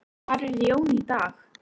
Hvar er Jón í dag?